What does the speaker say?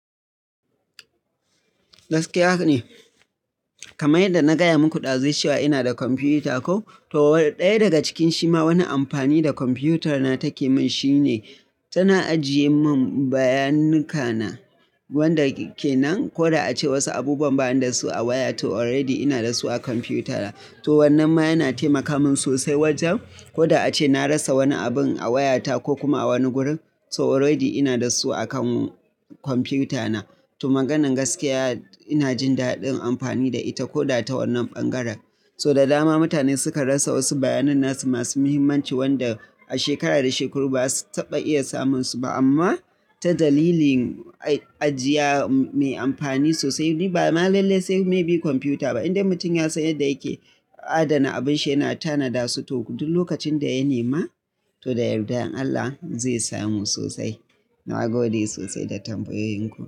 Gaskiya ne. Kama in da na gaya muku ɗazu cewa ina da kwamfiyuta koh, to ɗaya daga cikin shi ma wani amfani da kwamfiyutar na take min shine tana ajiye mun bayananuka wanda kenan. Koda ace wasu abubuwan ba ni da su a waya to already ina da su a kwamfuta na. To wannan ma yana taimaka min sosai wajen, koda ace na rasa wani abun a wayata ko kuma a wani gurin so already ina da su a kan kwamfuta na. To maganan gaskiya ina jin daɗin amfani da ita koda ta wannan ɓangaren. So da dama mutane suka rasa wasu bayanan nasu masu muhimmanci wanda a shekara da shekaru ba zasu taɓa iya samun su ba amma ta dalilin ajiya mai amfani sosai. Ni ba ma lalle sai maybe kwamfiyuta ba inda mutum ya san yadda yake adana abin shi yana tana dasu toh duk lokacin da ya nema, to da yardan Allah zai samu sosai. Na gode sosai da tambayoyin ku.